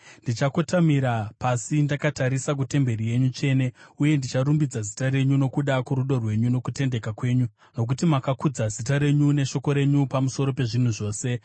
Ndichakotamira pasi ndakatarisa kutemberi yenyu tsvene, uye ndicharumbidza zita renyu nokuda kworudo rwenyu nokutendeka kwenyu, nokuti makakudza zita renyu neshoko renyu pamusoro pezvinhu zvose.